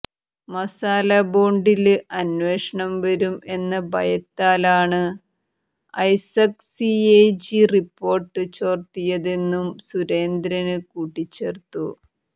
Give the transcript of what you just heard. മസാല ബോണ്ടില് അന്വേഷണം വരും എന്ന ഭയത്താലാണ് Isaac C A G report ചോര്ത്തിയതെന്നും സുരേന്ദ്രന് കൂട്ടിച്ചേര്ത്തു